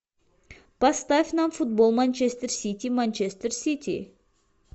поставь нам футбол манчестер сити манчестер сити